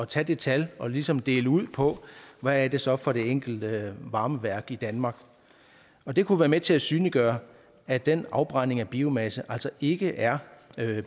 tage det tal og ligesom dele det ud på hvad det så er for det enkelte varmeværk i danmark og det kunne være med til at synliggøre at den afbrænding af biomasse altså ikke er